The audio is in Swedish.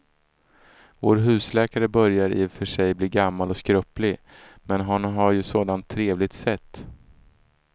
Vår husläkare börjar i och för sig bli gammal och skröplig, men han har ju ett sådant trevligt sätt!